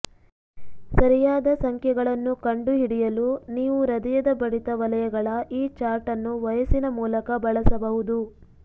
ಸರಿಯಾದ ಸಂಖ್ಯೆಗಳನ್ನು ಕಂಡುಹಿಡಿಯಲು ನೀವು ಹೃದಯದ ಬಡಿತ ವಲಯಗಳ ಈ ಚಾರ್ಟ್ ಅನ್ನು ವಯಸ್ಸಿನ ಮೂಲಕ ಬಳಸಬಹುದು